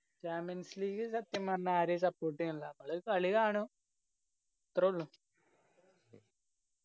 champions league സത്യം പറഞ്ഞ ആരെയും support എയണില്ല അത് കളി കാണും അത്രുള്ളു